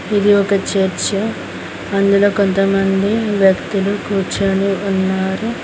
ఇది ఒక చర్చ్ అందులో కొంతమంది వ్యక్తులు కూర్చొని ఉన్నారు.